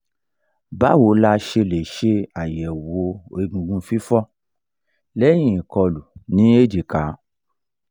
báwo la ṣe lè ṣàyẹ̀wò egungun fifo leyin ikolu ní èjìká?